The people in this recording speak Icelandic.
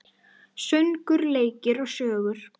Söngur, leikur og sögur.